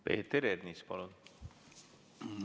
Peeter Ernits, palun!